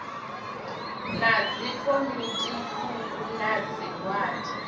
ya dzikomiti thukhu na zwigwada